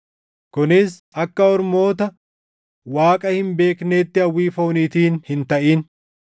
kunis akka ormoota Waaqa hin beekneetti hawwii fooniitiin hin taʼin;